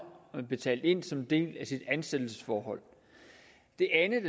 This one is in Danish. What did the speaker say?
betalt ind som en del af sit ansættelsesforhold det andet